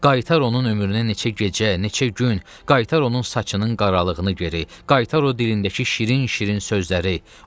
Qaytar onun ömrünə neçə gecə, neçə gün, qaytar onun saçının qaralığını geri, qaytar o dilindəki şirin-şirin sözləri.